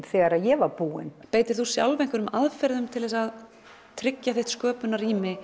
þegar ég var búin beitir þú sjálf einhverjum aðferðum til að tryggja þitt